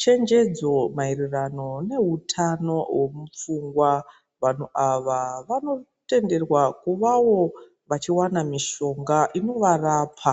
chenjedzo mayererano newutano womupfungwa. Vanhu awa, vanotenderwa kuvawo vachiwana mishonga inovarapa.